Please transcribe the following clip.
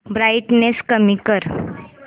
brightness कमी कर